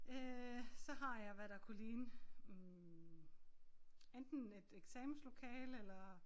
Øh så har jeg hvad der kunne ligne hm enten et eksamenslokale eller